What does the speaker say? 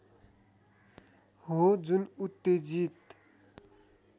हो जुन उत्तेजित